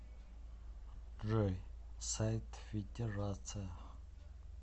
джой сайт федерация